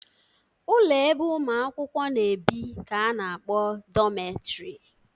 Ụlọ ebe ụmụ akwụkwọ na-ebi ka a na-akpọ dọmetrị